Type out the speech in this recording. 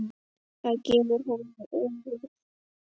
Það hefur hún verið síðan.